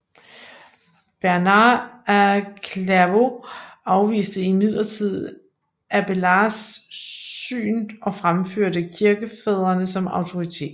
Bernhard af Clairvaux afviste imidlertid Abélards syn og fremførte kirkefædrene som autoritet